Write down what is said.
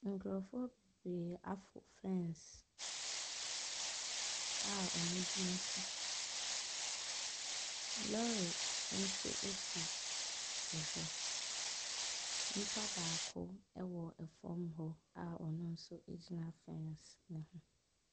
Nkurɔfoɔ bebree aforo fence a wɔgyina so. Lɔɔre nso si hɔ, nipa baako wɔ fam hɔ a ɔno nso gyina fence ne so.